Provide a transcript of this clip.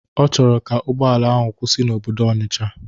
Ọ chọrọ ka ụgbọala ahụ kwụsị n'obodo Ọnisha.